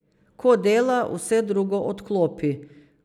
Ko dela, vse drugo odklopi.